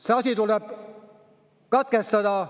See asi tuleb katkestada.